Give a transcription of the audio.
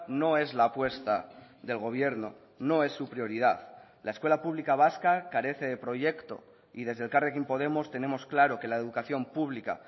no es la apuesta del gobierno no es su prioridad la escuela pública vasca carece de proyecto y desde elkarrekin podemos tenemos claro que la educación pública